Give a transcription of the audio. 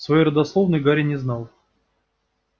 своей родословной гарри не знал